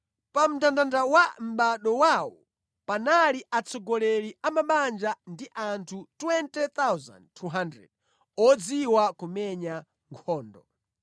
Pa mndandanda wa mʼbado wawo panali atsogoleri a mabanja ndi anthu 20,200 odziwa kumenya nkhondo.